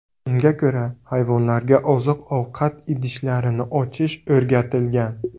Unga ko‘ra, hayvonlarga oziq-ovqat idishlarini ochish o‘rgatilgan.